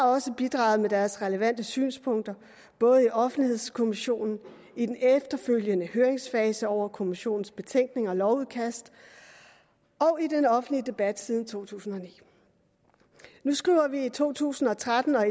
også bidraget med deres relevante synspunkter både i offentlighedskommissionen i den efterfølgende høringsfase over kommissionens betænkning og lovudkast og i den offentlige debat siden to tusind og ni nu skriver vi to tusind og tretten og